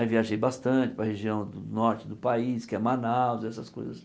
Aí viajei bastante para região do norte do país, que é Manaus, essas coisas.